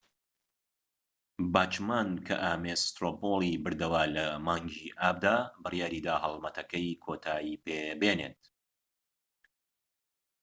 باچمان کە ئامێس سترۆ پۆڵی بردەوە لە مانگی ئابدا بڕیاریدا هەلمەتەکەی کۆتایی پێبێنت